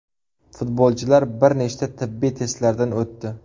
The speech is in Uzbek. Futbolchilar bir nechta tibbiy testlardan o‘tdi.